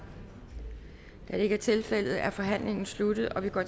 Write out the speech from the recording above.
da det ikke er tilfældet er forhandlingen sluttet og vi går